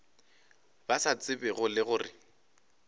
ba sa tsebego le gore